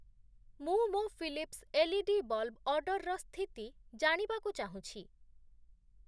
ମୁଁ ମୋ Philips LED bulb ଅର୍ଡ଼ର୍‌ର ସ୍ଥିତି ଜାଣିବାକୁ ଚାହୁଁଛି ।